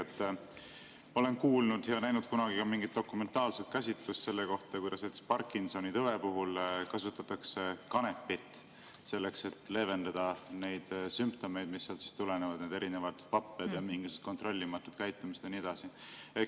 Ma olen kuulnud ja näinud kunagi ka mingit dokumentaalset käsitlust selle kohta, kuidas näiteks Parkinsoni tõve puhul kasutatakse kanepit, selleks et leevendada neid sümptomeid, mis tekivad, neid erinevaid vappeid ja mingisugust kontrollimatut käitumist ja nii edasi.